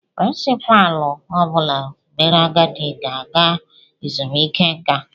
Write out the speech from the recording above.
Pirincipaalu ọ bụla mere agadi ga ala ezumiike nka